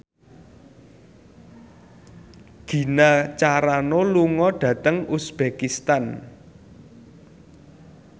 Gina Carano lunga dhateng uzbekistan